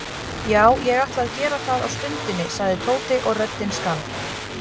Já, ég ætla að gera það á stundinni sagði Tóti og röddin skalf.